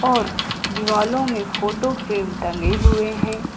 और दीवालो में फोटो फ्रेम टंगे हुए हैं।